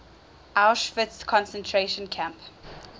auschwitz concentration camp